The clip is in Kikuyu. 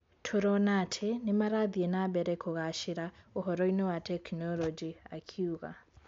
Tũrona ati nimarathie nambere kũgacera uhoro-ini wa teknoloji", akiuga.